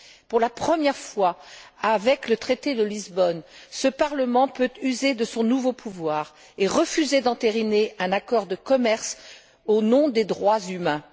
Pour la première fois, grâce au traité de Lisbonne, ce Parlement peut user de son nouveau pouvoir et refuser d'entériner un accord de commerce au nom des droits humains.